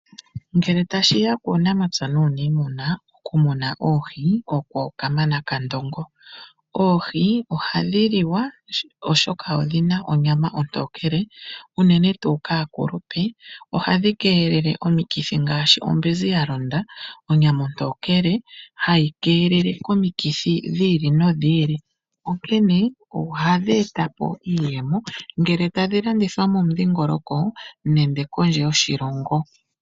Ngele tashi ya kuunamapya nuunimuna, okumuna oohi oko kamana kandongo. Oohi ohadhi liwa oshoka odhina onyama ontokele, unene tuu kaakulupe ohadhi keelele omikithi ngaashi ombinzi ya londa. Onyama ontokele hai keelele komikithi dhi ili nodhi ili, onkene ohadhi eta po iiyemo ngele tadbi landithwa momudhingoloko, nenge kondje yoshilongo.